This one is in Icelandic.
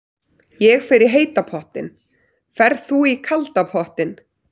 Ég fer í heita pottinn. Ferð þú í kalda pottinn?